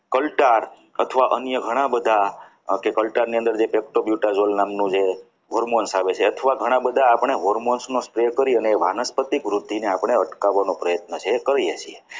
કલ્તાર અથવા અન્ય ઘણા બધા કલટાની અંદર જે કેપ્ટા બ્યુટા નામનું જે Hormones આવે છે અથવા ઘણા બધા આપણા hormones નું stay કરીને એ વાનસ્પતિક વૃદ્ધિને આપણે અટકાવવાનો પ્રયત્ન જે છે એ કરીએ છીએ